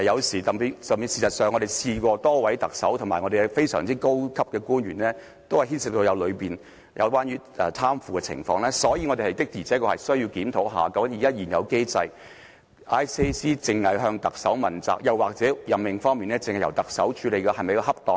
事實上，多位特首及非常高級的高官均牽涉貪腐，所以我們確實需要檢討究竟在現有機制下，廉署只向特首問責，或在任命方面只由特首處理是否恰當？